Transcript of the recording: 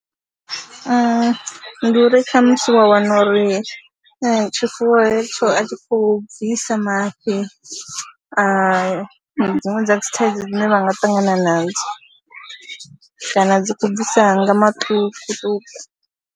Ndi uri khamusi wa wana uri tshifuwo hetsho a tshi khou bvisa mafhi a dziṅwe dza dzi thaidzo dzine vha nga ṱangana nadzo kana dzi khou bvisa nga maṱukuṱuku.